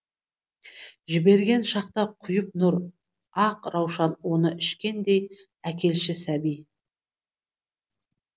жіберген шақта құйып нұр ақ раушан оны ішкендей әкелші сәби